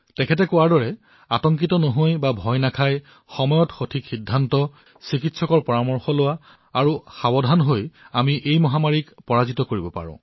যিদৰে তেওঁ কলে যে শংকিত নোহোৱাকৈ উপযুক্ত সময়ত উপযুক্ত পদক্ষেপ গ্ৰহণ কৰি চিকিৎসকৰ সৈতে যোগাযোগ কৰি উপযুক্ত সাৱধানতাকে আমি এই মহামাৰীক পৰাজিত কৰিব পাৰো